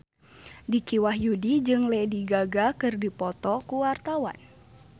Dicky Wahyudi jeung Lady Gaga keur dipoto ku wartawan